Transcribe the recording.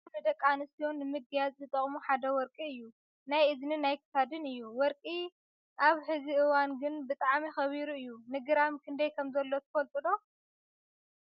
ካብ ንደቂ ኣንስትዮ ንምግያፅ ዝጠቅሙ ሓደ ወርቂ እዩ ። ናይ እዝንን ናይ ክሳድን እዩ። ወርቂ ኣብ ሕዚ እዋን ግን ብጣዕሚ ከቢሩ እዩ ። ንግራም ክንደይ ከም ዘሎ ትፈልጡ ዶ ?